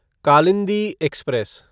Kalindi express